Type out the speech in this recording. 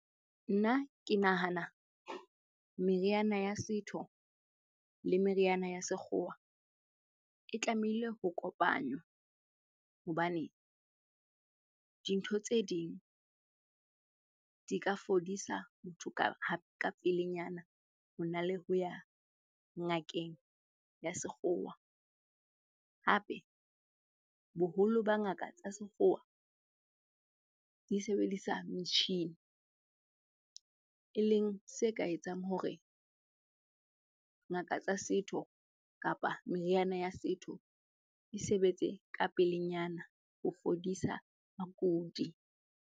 Nna ke nahana meriana ya setho le meriana ya sekgowa e tlamehile ho kopanywa hobane dintho tse ding di ka fodisa motho ka pelenyana hona le ho ya ngakeng ya sekgowa. Hape boholo ba ngaka tsa sekgowa di sebedisa metjhini e leng se ka etsang hore ngaka tsa setho kapa meriana ya setho e sebetse ka pelenyana ho fodisa bakudi.